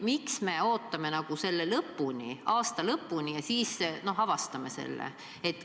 Miks me ootame aasta lõpuni ja siis alles avastame selle?